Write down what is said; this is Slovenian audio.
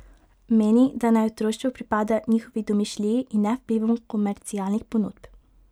Meni, da naj otroštvo pripada njihovi domišljiji in ne vplivom komercialnih ponudb.